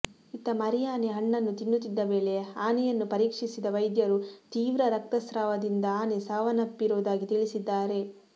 ಇತ್ತ ಮರಿ ಆನೆ ಹಣ್ಣನ್ನು ತಿನ್ನುತ್ತಿದ್ದ ವೇಳೆ ಆನೆಯನ್ನ ಪರೀಕ್ಷಿಸಿದ ವೈದ್ಯರು ತೀವ್ರ ರಕ್ತಸ್ರಾವದಿಂದ ಆನೆ ಸಾವನ್ನಪ್ಪಿರೋದಾಗಿ ತಿಳಿಸಿದ್ದಾರೆ